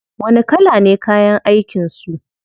Wani kala ne kayan aikin su?